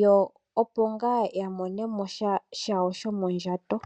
Yo opo ngaa ya monemo sha shawo shomondjato.